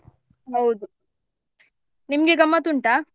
ಹೌದು ನಿಮ್ಗೆ ಗಮ್ಮತ್ ಉಂಟ?